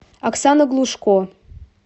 оксана глушко